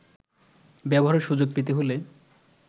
ব্যবহারের সুযোগ পেতে হলে